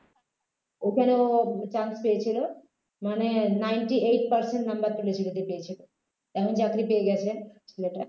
ওখানে ও chance পেয়েছিল মানে ninety-eight percent number তুলেছিল যে পেয়েছিলো এখন চাকরি পেয়ে গেছেন ছেলেটা